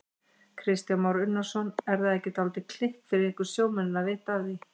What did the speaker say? Kristján Már Unnarsson: Er það ekki dálítið kikk fyrir ykkur sjómennina að vita af því?